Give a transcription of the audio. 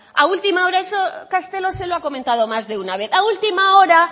eso castelo se lo ha comentado más de una vez a última hora